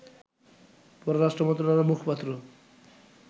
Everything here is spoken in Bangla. পররাষ্ট্র মন্ত্রলায়ের মুখপাত্র